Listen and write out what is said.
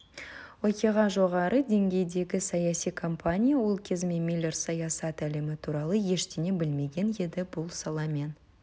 оқиға жоғары деңгейдегі саяси компания ол кезде миллер саясат әлемі туралы ештеңе білмеген еді бұл саламен